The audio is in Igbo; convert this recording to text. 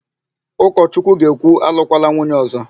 Ụkọchukwu ga-ekwu, alụkwala nwunye ọ̀zọ́!